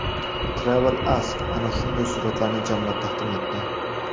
TravelAsk ana shunday suratlarni jamlab taqdim etdi .